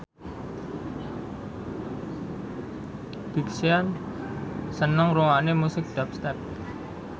Big Sean seneng ngrungokne musik dubstep